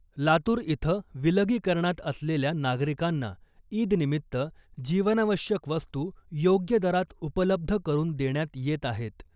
लातूर इथं विलगीकरणात असलेल्या नागरिकांना ईद निमित्त जीवनावश्यक वस्तू योग्य दरात उपलब्ध करुन देण्यात येत आहेत .